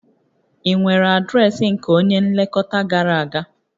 Ị nwere adreesị nke onye nlekọta gara aga?